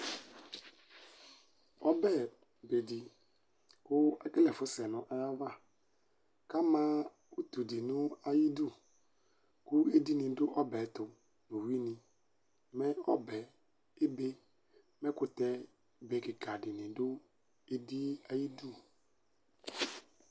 Ɔbɛbedi kʋ ekele ɛfʋsɛ nʋ ayʋ ava kʋ ama utudi nʋ ayʋ idʋ kʋ edini dʋ ɔbɛ yɛ ɛtʋ nʋ ʋwini mɛ ɔbɛ ebe mɛ ɛkʋtɛ be kikadi ni dʋ edi yɛ ayʋ idʋ